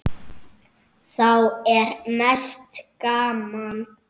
Þá er mest gaman.